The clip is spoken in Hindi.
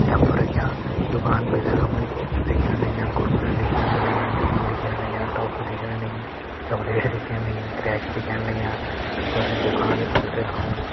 टब रख्यां दुकान भीतर हमे चिप्स दिखेण लग्यां कुरकुरा दिखेण लग्यां नमकीन दिखेण लग्यां टॉफ़ी दिखेण लगीं चॉकलेट दिखेण लगीं क्रैक्स दिखेण लग्यां और ये दुकान का भीतर हमे --